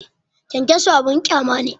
Kyankyaso abin ƙyama ne